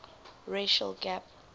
racial gap